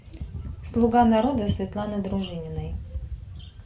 слуга народа светланы дружининой